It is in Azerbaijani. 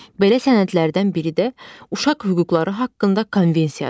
Belə sənədlərdən biri də Uşaq Hüquqları haqqında Konvensiyadır.